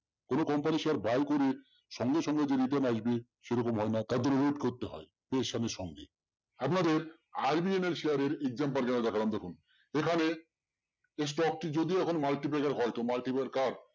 কোনো company share buy করে সঙ্গে সঙ্গে যে return আসবে সেরকম হয় না তার জন্য wait করতে হয়। সঙ্গে আপনাদের RVNL share এর income দেখলাম দেখুন এখানে এই stock টি যদিও এখন multiplexer হয়তো